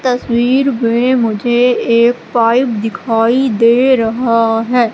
तस्वीर में मुझे एक पाइप दिखाई दे रहा हैं।